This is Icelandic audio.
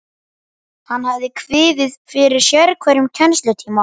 Hann hafði kviðið fyrir sérhverjum kennslutíma.